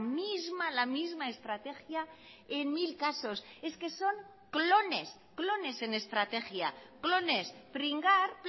misma la misma estrategia en mil casos es que son clones clones en estrategia clones pringar